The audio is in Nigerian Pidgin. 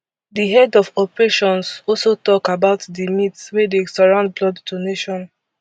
di head of operations also tok about di myths wey surround blood donation